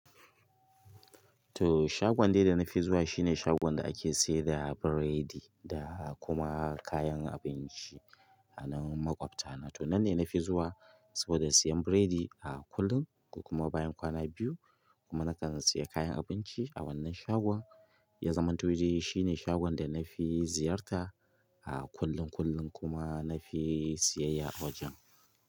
To shagon dai da nafi zuwa shine shagon da ake sayar da biredi da kuma kayan abinci a nan maƙwabtana. To nan ne nafi zuwa saboda siyan biredi a kullum kokuma bayan kwana biyu kuma na kan sayi kayan abinci a wannan shagon. Ya zamanto dai shine shagon da nafi ziyarta a kullum kullum kuma nafi siyayya a wajen.